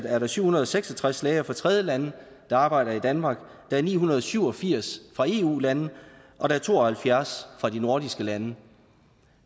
er der syv hundrede og seks og tres læger fra tredjelande der arbejder i danmark ni hundrede og syv og firs fra eu lande og to og halvfjerds fra de nordiske lande